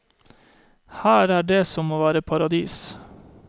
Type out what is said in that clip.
Her er det som å være i paradis.